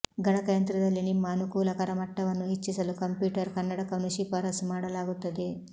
ಗಣಕಯಂತ್ರದಲ್ಲಿ ನಿಮ್ಮ ಅನುಕೂಲಕರ ಮಟ್ಟವನ್ನು ಹೆಚ್ಚಿಸಲು ಕಂಪ್ಯೂಟರ್ ಕನ್ನಡಕವನ್ನು ಶಿಫಾರಸು ಮಾಡಲಾಗುತ್ತದೆ